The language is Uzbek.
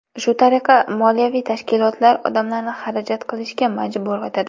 Shu tariqa, moliyaviy tashkilotlar odamlarni xarajat qilishga majbur etadi.